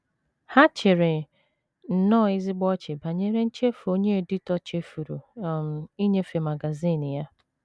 Ha chịrị nnọọ ezigbo ọchị banyere nchefu onye editọ chefuru um inyefe magazin ya.